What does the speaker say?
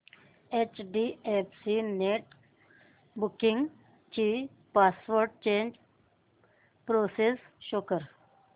HDFC net banking ची password change process show कर